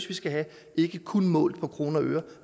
vi skal have ikke kun målt i kroner og øre